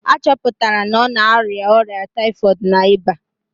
A chọpụtara na ọ na-arịa ọrịa typhoid na ịba